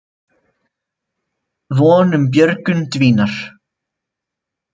Von um björgun dvínar